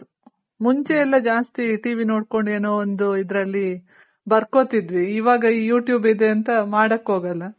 ಮುಂಚೆ ಎಲ್ಲ ಜಾಸ್ತಿ ,initialTVinitial ನೋಡ್ಕೊಂಡ್ ಏನೋ ಒಂದು ಇದ್ರಲ್ಲಿ ಬರ್ಕೊತಿದ್ವಿ ಇವಾಗ you tube ಇದೆ ಅಂತ ಮಾಡೋಕ್ ಹೋಗಲ್ಲ.